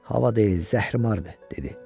Hava deyil, zəhrimardır, dedi.